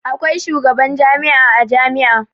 Akwai shugaban jami'a a jami'a.